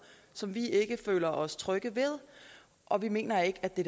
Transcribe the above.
som vi ikke føler os trygge ved og vi mener ikke det